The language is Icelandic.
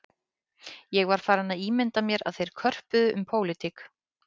Ég var farinn að ímynda mér að þeir körpuðu um pólitík